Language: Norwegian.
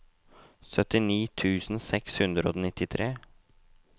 syttini tusen seks hundre og nittitre